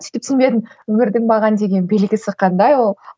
сөйтіп түсінбедім өмірдің маған деген белгісі қандай ол